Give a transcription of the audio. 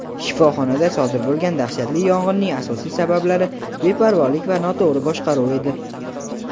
"shifoxonada sodir bo‘lgan dahshatli yong‘inning asosiy sabablari beparvolik va noto‘g‘ri boshqaruv edi".